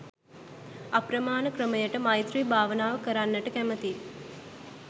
අප්‍රමාණ ක්‍රමයට මෛත්‍රී භාවනාව කරන්නට කැමති